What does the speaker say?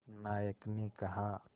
नायक ने कहा